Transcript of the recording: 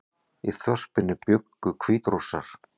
Í þorpinu bjuggu Hvítrússar